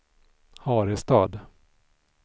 Harestad